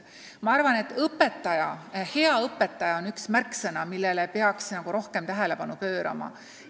Ma arvan, et hea õpetaja on üks märksõna, millele peaks rohkem tähelepanu pöörama.